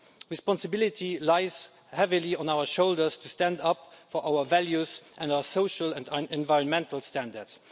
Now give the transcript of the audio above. Responsibility lies heavily on our shoulders to stand up for our values and our social and environmental standards.